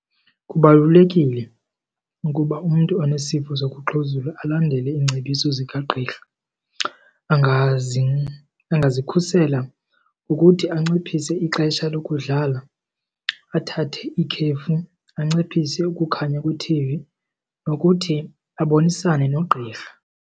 Kubalulekile ukuba umntu onesifo sokuxhuzula alandele iingcebiso zikagqirha. Angazikhusela ngokuthi anciphise ixesha lokudlala, athathe ikhefu, anciphise ukukhanya kwethivi nokuthi abonisane nogqirha.